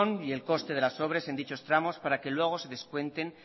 y el coste de las obras en dichos tramos para que luego de descuenten